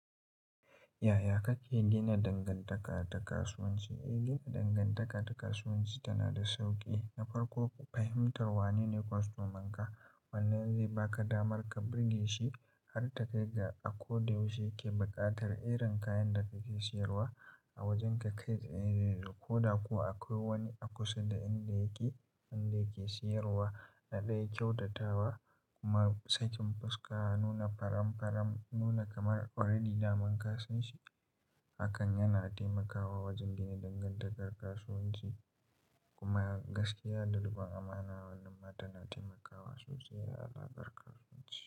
Yaya kake gina dangantaka da kasuwanci? Yin dangantaka da kasuwanci tana da sauƙi. Na farko, fahimtar wanene kwastomanka. Wannan zai baka damar ka birge shi har takai ga a ko da yaushe yake buƙatar irin kayan da kake siyarwa a wajenka. Ko da kuwa akwai wani a kusa da inda yake, inda yake siyarwa na ɗaya kyautatawa kuma sakin fuska, nuna faramfaram, nuna kamar already daman ka san shi. Hakan yana taimakawa wajen gina dangantakar kasuwanci kuma gaskiya da riƙon amana wannan ma tana taimakawa sosai a harkar kasuwanci.